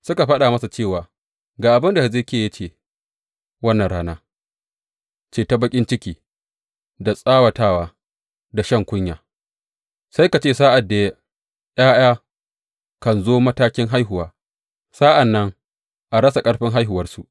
Suka faɗa masa cewa, Ga abin da Hezekiya ya ce wannan rana ce ta baƙin ciki da tsawatawa da shan kunya, sai ka ce sa’ad da ’ya’ya kan zo matakin haihuwa sa’an nan a rasa ƙarfin haihuwarsu.